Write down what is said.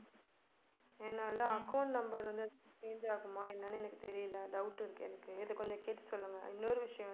என்னால account number வந்து change ஆகுமா என்னன்னு எனக்கு தெரியல doubt இருக்கு எனக்கு இத கொஞ்சம் கேட்டு சொல்லுங்க. இன்னொரு விஷயம் வந்து